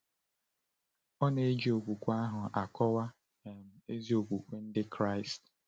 Ọ na-eji okwu ahụ akọwa um ezi okwukwe Ndị Kraịst.